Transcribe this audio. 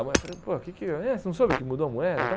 A mulher falou, pô, que que ãh você não soube que mudou a moeda tal?